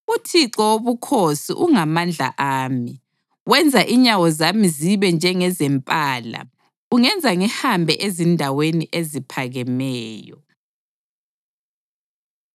UThixo Wobukhosi ungamandla ami; wenza inyawo zami zibe njengezempala, ungenza ngihambe ezindaweni eziphakemeyo. Ngeyomqondisi womculo. Ezigincini zami.